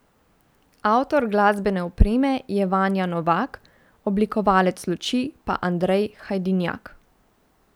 Avtor glasbene opreme je Vanja Novak, oblikovalec luči pa Andrej Hajdinjak.